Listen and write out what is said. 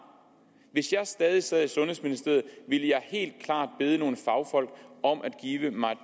hvis jeg stadig sad i sundhedsministeriet ville jeg helt klart bede nogle fagfolk om at give mig